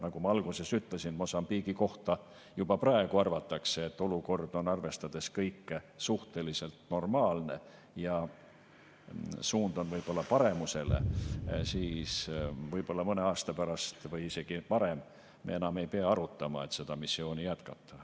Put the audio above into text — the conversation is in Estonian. Nagu ma alguses ütlesin, kuna Mosambiigi kohta juba praegu arvatakse, et olukord on kõike arvestades suhteliselt normaalne ja suund on paremusele, siis võib-olla mõne aasta pärast või isegi varem me enam ei pea arutama, et seda missiooni jätkata.